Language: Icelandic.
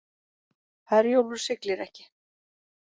Herjólfur siglir ekki